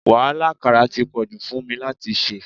Wàhálà àkàrà ti pọ̀jù fún mi láti ṣe.